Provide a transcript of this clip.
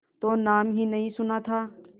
तो नाम ही नहीं सुना था